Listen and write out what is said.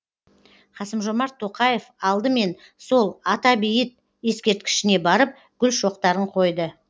қасым жомарт тоқаев алдымен сол ата бейіт ескерткішіне барып гүл шоқтарын қойды